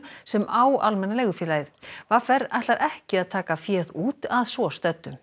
sem á Almenna leigufélagið v r ætlar ekki að taka féð út að svo stöddu